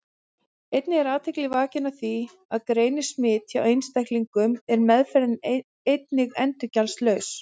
Einnig er athygli vakin á því að greinist smit hjá einstaklingum er meðferðin einnig endurgjaldslaus.